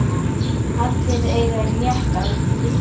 Allir eiga rétt á því.